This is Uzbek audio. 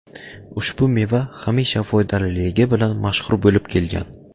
Ushbu meva hamisha foydaliligi bilan mashhur bo‘lib kelgan.